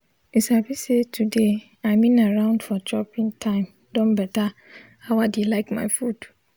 u sabi say to de i mean around for chopping time don beta how i de like my food